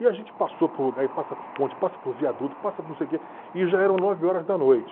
E a gente passou por lugar, e passa por ponte, passa por viaduto, passa por não sei o que, e já eram nove horas da noite.